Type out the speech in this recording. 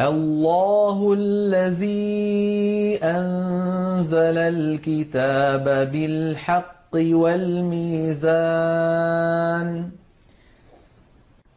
اللَّهُ الَّذِي أَنزَلَ الْكِتَابَ بِالْحَقِّ وَالْمِيزَانَ ۗ